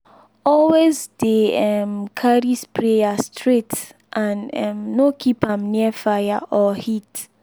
always dey um carry sprayer straight and um no keep am near fire or heat.